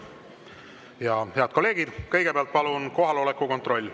Ja head kolleegid, kõigepealt palun kohaloleku kontroll.